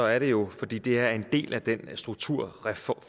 er det jo fordi det er en del af den foreslåede strukturreform